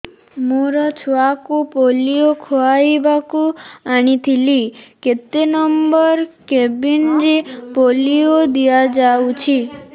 ମୋର ଛୁଆକୁ ପୋଲିଓ ଖୁଆଇବାକୁ ଆଣିଥିଲି କେତେ ନମ୍ବର କେବିନ ରେ ପୋଲିଓ ଦିଆଯାଉଛି